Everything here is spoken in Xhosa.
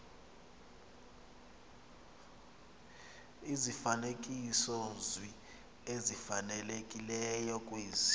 izifanekisozwi ezifanelekileyo kwezi